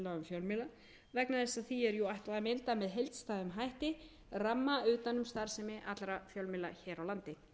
fjölmiðla vegna þess að því er jú ætlað að mynda með heildstæðum hætti ramma utan um starfsemi allra fjölmiðla hér á landi